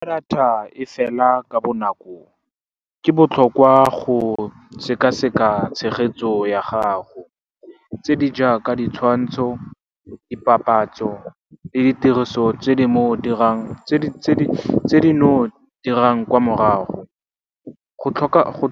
Fa data e fela ka bonako, ke botlhokwa go sekaseka tshegetso ya gago tse di jaaka ditshwantsho, dipapatso le ditiriso tse di no dirang kwa morago. Go